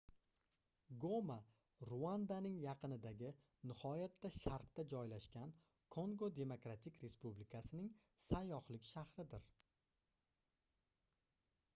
goma ruandaning yaqinidagi nihoyatda sharqda joylashgan kongo demokratik respublikasining sayyohlik shahridir